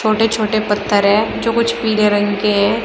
छोटे छोटे पत्थर है जो कुछ पीले रंग के हैं।